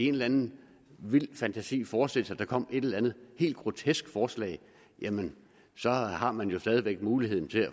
en anden vild fantasi forestille sig at der kommer et eller en helt grotesk forslag men så har man jo stadig væk muligheden